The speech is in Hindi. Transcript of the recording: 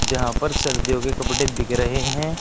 यहां पर सर्दियों के कपड़े बिक रहे हैं।